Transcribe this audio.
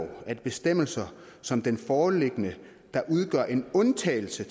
at bestemmelser som den foreliggende der udgør en undtagelse